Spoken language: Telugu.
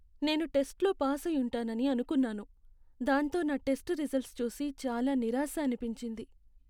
నేను టెస్ట్లో పాసయుంటానని అనుకున్నాను, దాంతో నా టెస్ట్ రిజల్ట్స్ చూసి చాలా నిరాశ అనిపించింది.